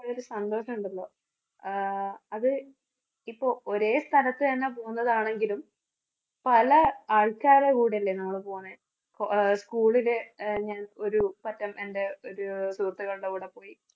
ആ ഒരു സന്തോഷം ഉണ്ടല്ലോ. ആഹ് അത് ഇപ്പോൾ ഒരേ സ്ഥലത്തുതന്നെ പോകുന്നതാണെങ്കിലും പല ആൾക്കാരുടെ കൂടെയല്ലേ നമ്മള് പോണെ? അഹ് school ലെ ഞാൻ ഒരു സുഹൃത്തുക്കളുടെ കൂടെ പോയി